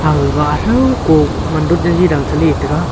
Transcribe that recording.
ga gatho ko matdur gi gi dang se ley taiga.